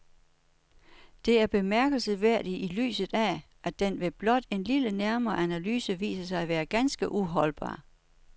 Det er bemærkelsesværdigt i lyset af, at den ved blot en lidt nærmere analyse viser sig at være ganske uholdbar.